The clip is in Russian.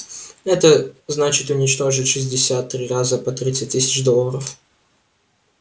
это значит уничтожить шестьдесят три раза по тридцать тысяч долларов